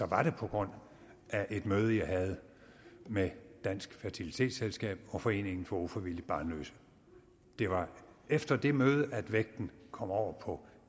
var det på grund af et møde jeg havde med dansk fertilitetsselskab og foreningen for ufrivilligt barnløse det var efter det møde at vægten kom over på